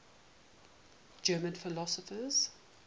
german philosophers